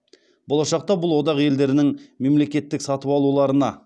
болашақта бұл одақ елдерінің мемлекеттік сатып алуларына